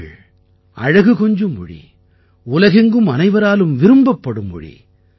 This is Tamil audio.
தமிழ் அழகு கொஞ்சும் மொழி உலகெங்கும் அனைவராலும் விரும்பப்படும் மொழி